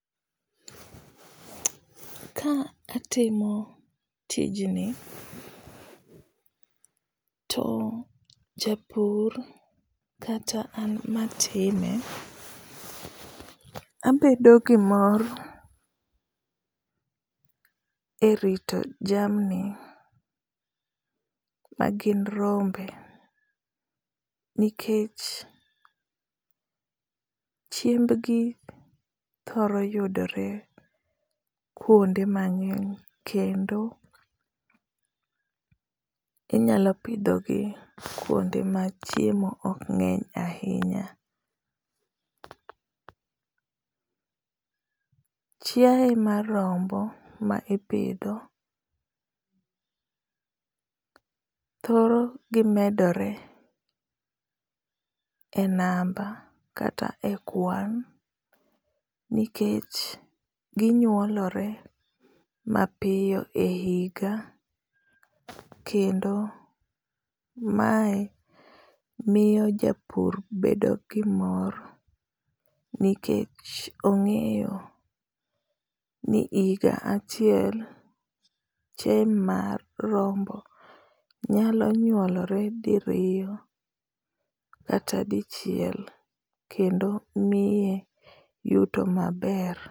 Ka atimo tijni, to japur kata an matime abedo gi mor e rito jamni ma gin rombe. Nikech chiembgi thoro yudore kuonde mangény kendo inyalo pidho gi kuonde ma chiemo ok ngény ahinya. Chiae mar rombo ma ipidho, thoro gi medore e namba kata e kwan nikech ginyuolore mapiyo e higa, kendo mae miyo japur bedo gi mor, nikech ongéyo ni higa achiel, chiae mar rombo, nyalo nyuolore diriyo kata dichiel, kendo miye yuto maber.